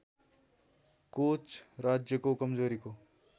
coach राज्यको कमजोरीको